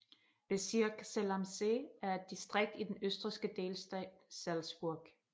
Bezirk Zell am See er et distrikt i den østrigske delstat Salzburg